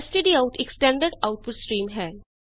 stdout ਇਕ standard output stream ਹੈ